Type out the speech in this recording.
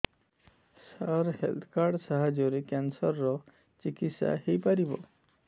ସାର health card ସାହାଯ୍ୟରେ cancer ର ଚିକିତ୍ସା ହେଇପାରିବ